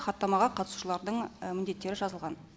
хаттамаға қатысушылардың міндеттері жазылған